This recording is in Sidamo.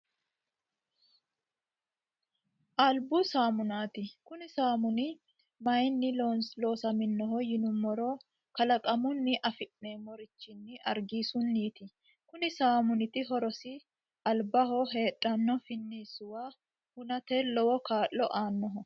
Alibbu saamunnati kunni saammunni maayinni loossamminno yiinnumoro kaalaqqamunni affinnemmorichin ariggissunniti kunni saammuniti horrosinni alibbaho heedhano finnisuwwa hunnate lowwo kaa'lo anooho